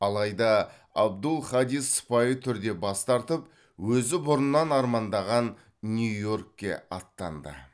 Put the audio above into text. алайда абдул хадис сыпайы түрде бас тартып өзі бұрыннан армандаған нью йоркке аттанды